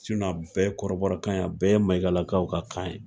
a bɛɛ ye kɔrɔbɔrɔ kan ye, a bɛɛ ye mayigalakaw ka kan ye.